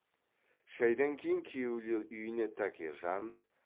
шайдан кейін күйеулер үйіне тәкежан